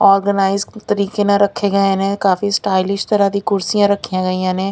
Organise ਤਰੀਕੇ ਨਾਲ ਰੱਖੇ ਗਏ ਨੇ ਕਾਫੀ ਸਟਾਈਲਿਸ਼ ਤਰਾ ਦੀ ਕੁਰਸੀਆਂ ਰੱਖੀਆਂ ਗਈਆਂ ਨੇ।